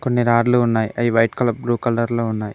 కొన్ని రాడ్లు ఉన్నాయి అవి వైట్ కలర్ బ్లూ కలర్ లో ఉన్నాయి.